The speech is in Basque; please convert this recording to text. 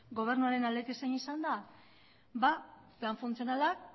gobernuaren aldetik zein izan da plan funtzionala